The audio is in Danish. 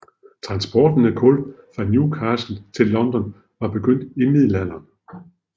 Transporten af kul fra Newcastle til London var begyndt i Middelalderen